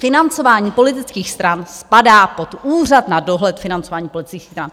Financování politických stran spadá pod Úřad na dohled financování politických stran.